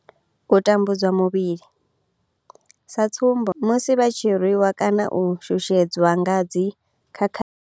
U tambudzwa muvhili sa tsumbo, musi vha tshi rwi wa kana u shushedzwa nga dzi khakhathi.